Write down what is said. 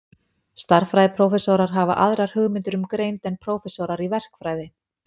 Stærðfræðiprófessorar hafa aðrar hugmyndir um greind en prófessorar í verkfræði.